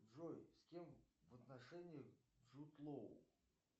джой с кем в отношениях джуд лоу